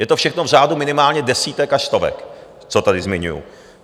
Je to všechno v řádu minimálně desítek až stovek, co tady zmiňuji.